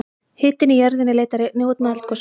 hitinn í jörðinni leitar einnig út með eldgosum